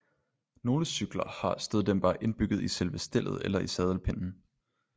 Nogle cykler har støddæmpere indbygget i selve stellet eller i sadelpinden